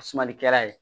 A sumalikɛla ye